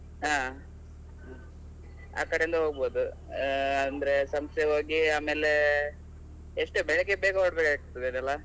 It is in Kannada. ಹಾ, ಆ ಕಡೆಯಿಂದ ಹೋಗ್ಬೋದು ಅಹ್ ಅಂದ್ರೆ ಸಂಸೆ ಹೋಗಿ ಆಮೇಲೆ, ಎಷ್ಟು ಬೆಳಿಗ್ಗೆ ಬೇಗ ಹೊರಡ್ಬೇಕಾಗ್ತದೆ ಅಲ್ಲಾ?